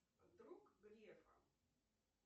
друг грефа